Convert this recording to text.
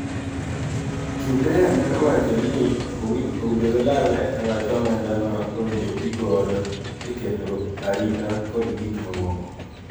Trudeau medo wacho ni owinjo gilalre e wach omenda ma owinjo tigodo e keto arita kod gik mamoko